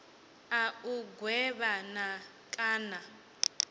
a u gwevha na kana